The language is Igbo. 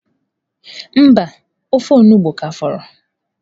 Mba, ofe onugbu ka fọrọ.